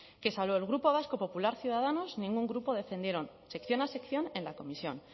que salvo el grupo vasco popular ciudadanos ningún grupo defendieron sección a sección en la comisión